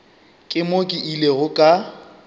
ke mo ke ilego ka